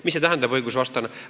Mida see õigusvastane tähendab?